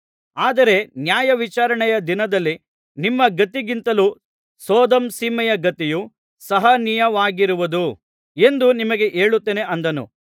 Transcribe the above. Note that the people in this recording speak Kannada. ಆದರೆ ನ್ಯಾಯವಿಚಾರಣೆಯ ದಿನದಲ್ಲಿ ನಿಮ್ಮ ಗತಿಗಿಂತಲೂ ಸೊದೋಮ್ ಸೀಮೆಯ ಗತಿಯು ಸಹನೀಯವಾಗಿರುವುದು ಎಂದು ನಿಮಗೆ ಹೇಳುತ್ತೇನೆ ಅಂದನು